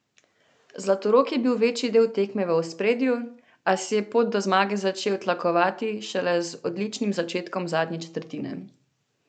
Zlatorog je bil večji del tekme v ospredju, a si je pot do zmage začel tlakovati šele z odličnim začetkom zadnje četrtine.